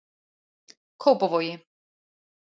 Kópavogi